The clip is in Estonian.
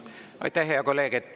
Aitäh, hea kolleeg!